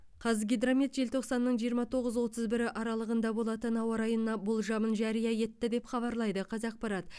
қазгидромет желтоқсанның жиырма тоғыз отыз бірі аралығында болатын ауа райына болжамын жария етті деп хабарлайды қазақпарат